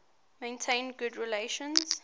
maintained good relations